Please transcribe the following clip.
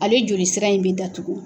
Ale joli sira in bɛ datugun.